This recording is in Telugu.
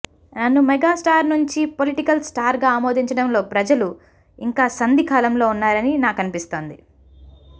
నన్ను మెగాస్టార్ నుంచి పొలిటికల్ స్టార్గా ఆమోదించడంలో ప్రజలు ఇంకా సంధి కాలంలో ఉన్నారని నాకనిపిస్తోంది